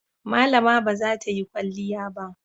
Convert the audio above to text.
Malama ba za ta yi kwalliya ba.